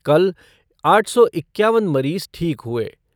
कल आठ सौ इक्यानव मरीज ठीक हुए।